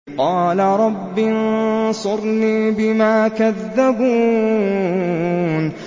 قَالَ رَبِّ انصُرْنِي بِمَا كَذَّبُونِ